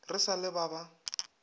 re sa le ba ba